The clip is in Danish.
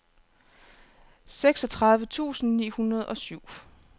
seksogtredive tusind ni hundrede og syv